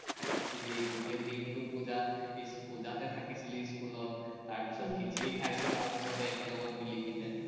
থাকিছিলি, গোটেই দিনটো পুজা, পুজাতে থাকিছিলি স্কুলত, তাৰপিচত খিচিৰি খাইছিলো আমি চবেই একেলগত মিলি কেনে।